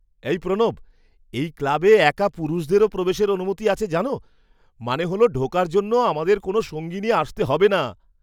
এই প্রণব, এই ক্লাবে একা পুরুষদেরও প্রবেশের অনুমতি আছে জানো? মানে হল ঢোকার জন্য আমাদের কোনও সঙ্গী নিয়ে আসতে হবে না।